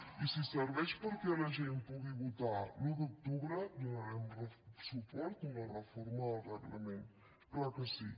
i si serveix perquè la gent pugui votar l’un d’octubre donarem suport a una reforma del reglament clar que sí